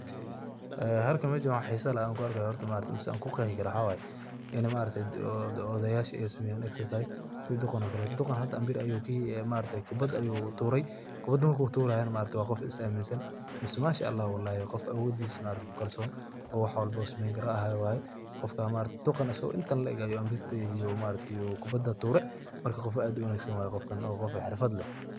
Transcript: Halkan meeshan waxan xeesa leeh, an ku arkahayo maxawaye, mise kuQeexi karoh mxawayi ini maaragtay odoyasha Aya sameeyan, exercise setha duqaan oo Kali duqaan hada ambeer ayuu kubat ayuu tuuray kubata marku tuurayo wa Qoof is aminsant mise manshaalah Qoof awoodesha ku kalsoni oo wax walbo wuusameeyni karah Qoof ka maargtahay duqan asaku intaan la eeg ayu ambirta tuuray marka Qoof wa Qoof xeerfad leeh.